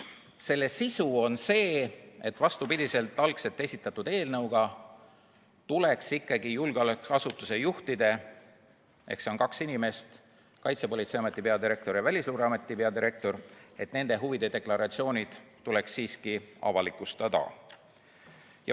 Selle sisu on see, et vastupidi algselt esitatud eelnõule tuleks ikkagi julgeolekuasutuse juhtide – need on kaks inimest, Kaitsepolitseiameti peadirektor ja Välisluureameti peadirektor – huvide deklaratsioonid siiski avalikustada.